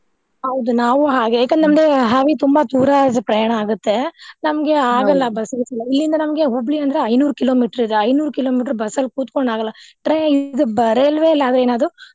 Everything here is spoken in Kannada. ಹೌದು ನಾವು ಹಾಗೆ ಅಂದ್ರೆ ಹಾದಿ ತುಂಬಾ ದೂರಾ ಪ್ರಯಾಣ ಆಗತ್ತೆ ನಮ್ಗೆ ಬಸ್ ಗಿಸ್ ಎಲ್ಲಾ ಇಲ್ಲಿಂದ ನಮ್ಗೆ ಹುಬ್ಳಿ ಅಂದ್ರೆ ಐನೂರ್ kilometer ಇದೆ ಐನೂರ್ kilometer ಬಸ್ಸಲ್ಲಿ ಕೂತ್ಕೊಂಡ್ ಆಗಲ್ಲಾ train ಇದ್ ಬ~ ರೇಲ್ವೆಲ್ಲಿ ಅದ್ರೆ ಏನ್ ಅದು.